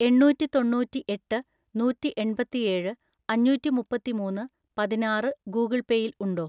എണ്ണൂറ്റിതൊണ്ണൂറ്റിഎട്ട് നൂറ്റിഎൺപത്തിഏഴ് അഞ്ഞൂറ്റിമുപ്പത്തിമൂന്ന് പതിനാറ് ഗൂഗിൾ പേ യിൽ ഉണ്ടോ?